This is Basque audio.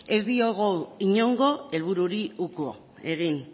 ez diogu inongo helbururi uko egin